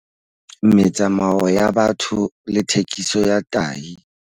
Metsamao ya batho le thekiso ya tahi.